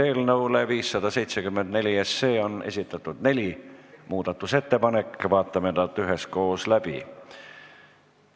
Eelnõu 754 kohta on esitatud neli muudatusettepanekut, vaatame need üheskoos läbi.